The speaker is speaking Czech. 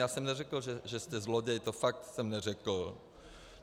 Já jsem neřekl, že jste zloděj, to fakt jsem neřekl.